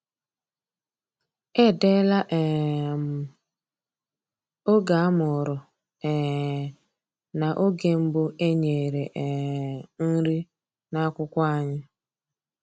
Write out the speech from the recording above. Edeela um m oge a mụrụ um na oge mbụ e nyere um nri n’akwụkwọ anyị.